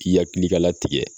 K'i hakili ka latigɛ.